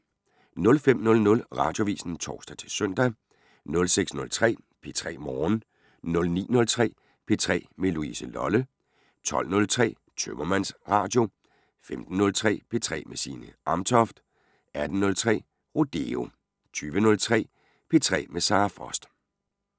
05:00: Radioavisen (tor-søn) 06:03: P3 Morgen 09:03: P3 med Louise Lolle 12:03: Tømmermandsradio 15:03: P3 med Signe Amtoft 18:03: Rodeo 20:03: P3 med Sara Frost